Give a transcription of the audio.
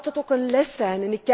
Maar laat het ook een les zijn.